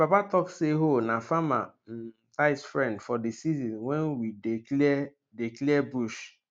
my papa talk say hoe na farmer um tight friend for di season wen we dey clear dey clear bush